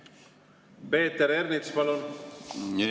Peeter Ernits, palun!